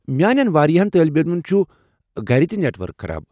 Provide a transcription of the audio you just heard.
میٚانٮ۪ن واریاہن طٲلبہ علمن چھُ گھرِ تہِ خراب نیٹ ؤرک۔